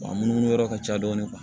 Wa munumunu yɔrɔ ka ca dɔɔni